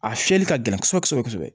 A fiyɛli ka gɛlɛn kosɛbɛ kosɛbɛ